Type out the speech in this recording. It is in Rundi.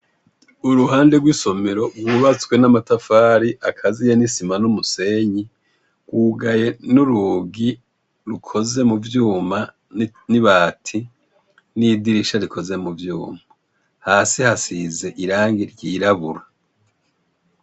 Uruhande rw' isomero rwubatswe n' amatafar' akaziye n' isima n' umusenyi rwugaye n' urugi rukoze mu vyuma n' ibati, n'idirisha rikoze mu vyuma, hasi hasiz' irangi ryirabura.